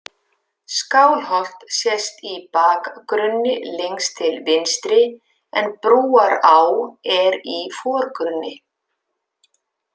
Skálholt sést í bakgrunni lengst til vinstri en Brúará er í forgrunni.